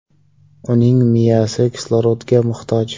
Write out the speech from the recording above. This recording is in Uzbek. Uning miyasi kislorodga muhtoj.